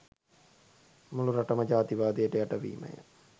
මුළු රටම ජාතිවාදයට යට වීමය